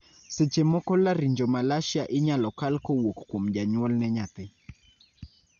seche moko Laryngomalacia inyalo kal kowuok kuom janyuol ne nyathi